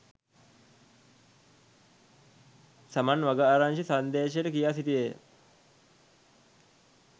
සමන් වගආරච්චි සංදේශයට කියා සිටියේය